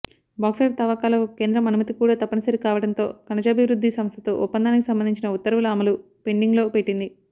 bauxite తవ్వకాలకు కేంద్రం అనుమతి కూడా తప్పనిసరి కావడంతో ఖనిజాభివృద్ధి సంస్థతో ఒప్పందానికి సంబంధించిన ఉత్తర్వుల అమలు పెండింగ్లో పెట్టింది